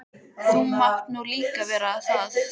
Þú mátt nú líka vera það.